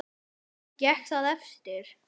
Gekk það eftir.